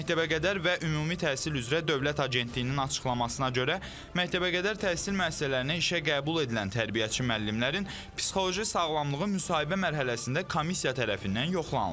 Məktəbəqədər və ümumi təhsil üzrə Dövlət Agentliyinin açıqlamasına görə, məktəbəqədər təhsil müəssisələrinə işə qəbul edilən tərbiyəçi müəllimlərin psixoloji sağlamlığı müsahibə mərhələsində komissiya tərəfindən yoxlanılır.